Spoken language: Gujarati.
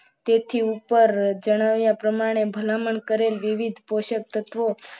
તેથી ઉપર જણાવ્યા પ્રમાણે ભલામણ કરે વિવિધ પોષક તત્વો